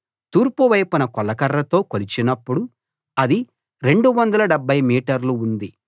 తూర్పు వైపున కొలకర్రతో కొలిచినప్పుడు అది 270 మీటర్లు ఉంది